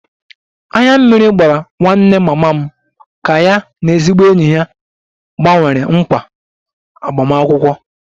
Anya mmiri gbara nwanne mama m ka ya na ezigbo enyi ya gbanwere nkwa agbamakwụkwọ